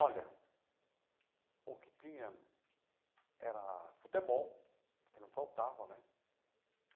Olha, o que tinha era futebol, porque não faltava, né?